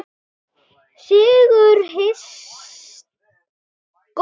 Sigur hins góða.